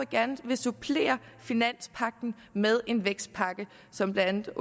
gerne vil supplere finanspagten med en vækstpakke som blandt